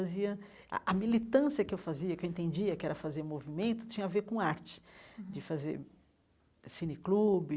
a a militância que eu fazia, que eu entendia que era fazer movimento, tinha a ver com arte, de fazer cineclube,